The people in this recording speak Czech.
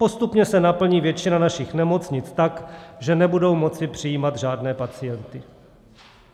Postupně se naplní většina našich nemocnic tak, že nebudou moct přijímat žádné pacienty.